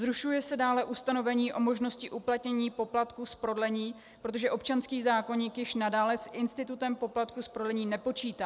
Zrušuje se dále ustanovení o možnosti uplatnění poplatku z prodlení, protože občanský zákoník již nadále s institutem poplatku z prodlení nepočítá.